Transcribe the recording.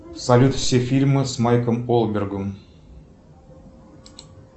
салют все фильмы с майком ольбергом